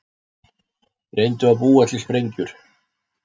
Reyndu að búa til sprengjur